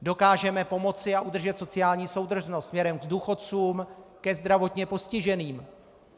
Dokážeme pomoci a udržet sociální soudržnost směrem k důchodcům, ke zdravotně postiženým.